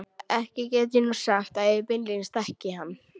Ekki get ég nú sagt ég beinlínis þekki hann.